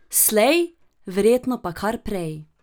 Slej, verjetno pa kar prej.